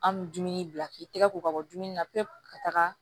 An bɛ dumuni bila k'i tɛgɛ ko ka bɔ dumuni na pewu ka taga